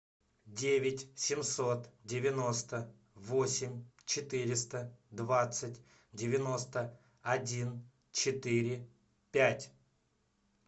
девять семьсот девяносто восемь четыреста двадцать девяносто один четыре пять